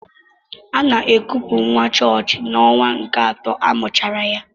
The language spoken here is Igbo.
Ana ekupu nwa chọọchị n'ọnwa nke atọ amụchara ya.